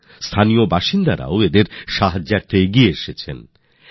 এখন তারা স্থানীয় লোকেদের সহায়তাও পাচ্ছেন